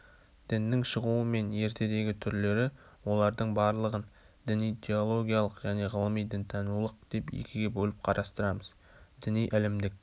діннің шығуы мен ертедегі түрлері олардың барлығын діни-теологиялық және ғылыми-дінтанулық деп екіге бөліп қарастырамыз діни ілімдік